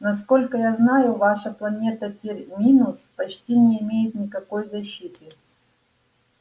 насколько я знаю ваша планета терминус почти не имеет никакой защиты